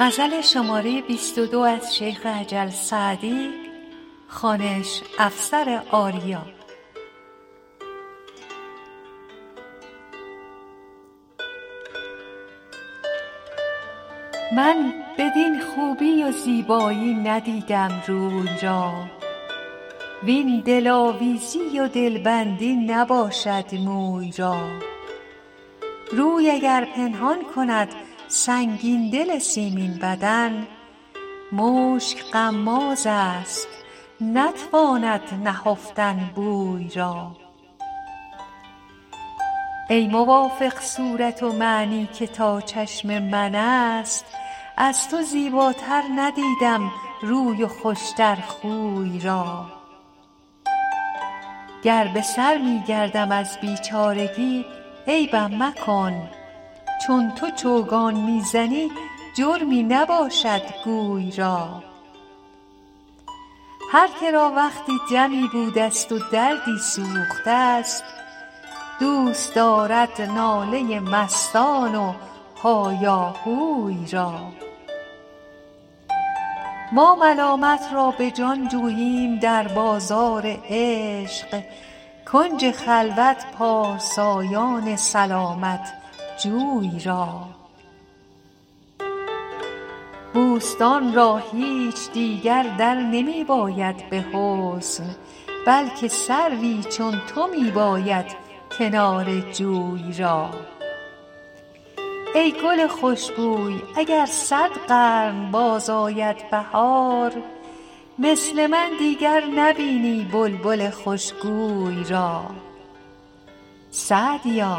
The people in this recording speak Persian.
من بدین خوبی و زیبایی ندیدم روی را وین دلآویزی و دلبندی نباشد موی را روی اگر پنهان کند سنگین دل سیمین بدن مشک غمازست نتواند نهفتن بوی را ای موافق صورت ومعنی که تا چشم من است از تو زیباتر ندیدم روی و خوش تر خوی را گر به سر می گردم از بیچارگی عیبم مکن چون تو چوگان می زنی جرمی نباشد گوی را هر که را وقتی دمی بودست و دردی سوخته ست دوست دارد ناله مستان و هایاهوی را ما ملامت را به جان جوییم در بازار عشق کنج خلوت پارسایان سلامت جوی را بوستان را هیچ دیگر در نمی باید به حسن بلکه سروی چون تو می باید کنار جوی را ای گل خوش بوی اگر صد قرن باز آید بهار مثل من دیگر نبینی بلبل خوش گوی را سعدیا